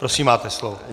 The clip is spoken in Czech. Prosím, máte slovo.